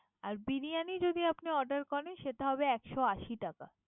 আর বিরিয়ানী যদি আপনি order করেন। সেটা হবে একশো আশি টাকা।